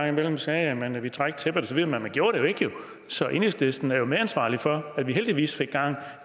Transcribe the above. imellem sagde at man ville trække tæppet osv men man gjorde det jo ikke så enhedslisten er medansvarlig for at vi heldigvis fik gang